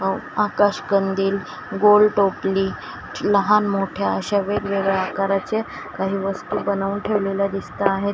आकाश कंदील गोल टोपली लहान मोठ्या अशा वेगवेगळ्या आकाराचे काही वस्तू बनवून ठेवलेल्या दिसत आहे.